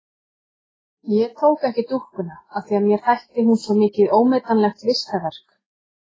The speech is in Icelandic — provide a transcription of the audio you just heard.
Ég tók ekki dúkkuna af því að mér þætti hún svo mikið ómetanlegt listaverk.